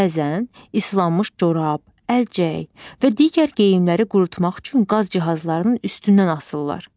Bəzən islanmış corab, əlcək və digər geyimləri qurutmaq üçün qaz cihazlarının üstündən asırlar.